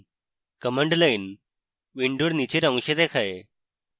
command line window নীচের অংশে দেখায়